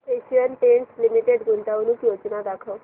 Asian Paints limited गुंतवणूक योजना दाखव